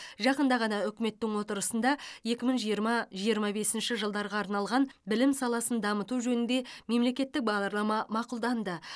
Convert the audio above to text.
жақында ғана үкіметтің отырысында екі мың жиырма жиырма бесінші жылдарға арналған білім саласын дамыту жөнінде мемлекеттік бағдарлама мақұлданды